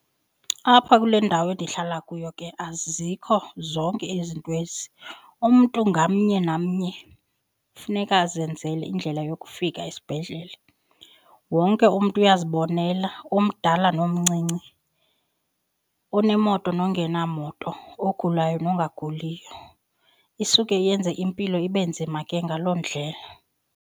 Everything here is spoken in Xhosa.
Apha kule ndawo endihlala kuyo ke azikho zonke ezi nto ezi, umntu ngamnye namnye kufuneka azenzele indlela yokufika esibhedlele. Wonke umntu uyazibonela omdala nomncinci, onemoto nongena moto, ogulayo nongaguliyo. Isuke yenze impilo ibe nzima ke ngaloo ndlela.